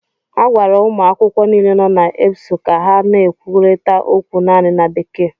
A gwara ụmụ akwụkwọ niile nọ na EBSU ka ha na-ekwurịta okwu naanị na Bekee